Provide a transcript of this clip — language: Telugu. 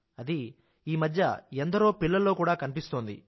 అది ఎందరో పిల్లలలో కూడా కనిపిస్తోంది